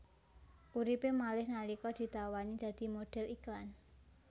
Uripé malih nalika ditawani dadi modhél iklan